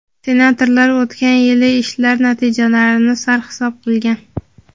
senatorlar o‘tgan yilgi ishlar natijalarini sarhisob qilgan.